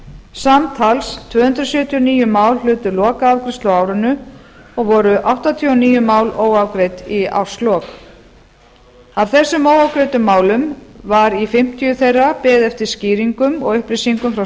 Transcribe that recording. samtals tvö hundruð sjötíu og níu mál hlutu lokaafgreiðslu á árinu og voru áttatíu og níu mál óafgreidd í árslok af þessum óafgreiddu málum var í fimmtíu þeirra beðið eftir skýringum og upplýsingum frá